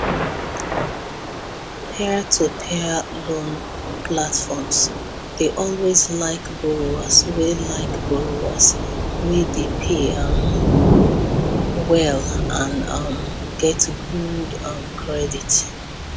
peertopeer loan platforms dey always like borrowers wey like borrowers wey dey pay um well and um get good um credit